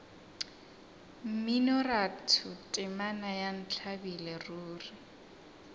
mminoratho temana ya ntlabile ruri